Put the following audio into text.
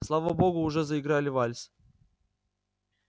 слава богу уже заиграли вальс